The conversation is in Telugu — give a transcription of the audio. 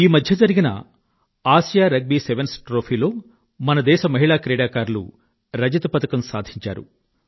ఈ మధ్య జరిగిన ఏషియా రగ్బీ సెవెన్స్ ట్రోఫీ లో మన దేశ మహిళా క్రీడాకారులు రజత పతకం సాధించారు